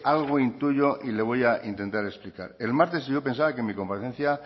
algo intuyo y le voy a intentar explicar el martes yo pensaba que en mi comparecencia